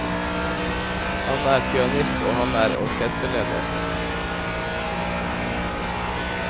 Han er pianist, og han er orkesterleder.